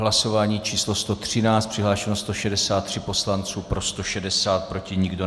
Hlasování číslo 113, přihlášeno 163 poslanců, pro 160, proti nikdo.